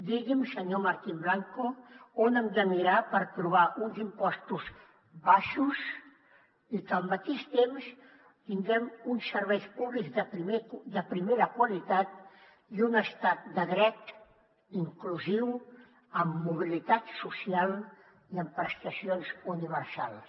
digui’m senyor martín blanco on hem de mirar per trobar uns impostos baixos i que al mateix temps tinguem uns serveis públics de primera qualitat i un estat de dret inclusiu amb mobilitat social i amb prestacions universals